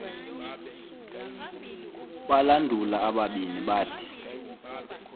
balandula abalindi bathi